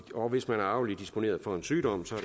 og hvis man er arveligt disponeret for en sygdom